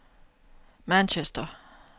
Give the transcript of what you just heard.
Manchester